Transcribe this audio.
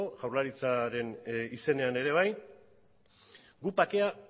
jaurlaritzaren izenean ere bai guk bakea